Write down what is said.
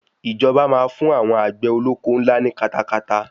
Ìjọba máa fún àwọn àgbè olóko ńlá ní katakata.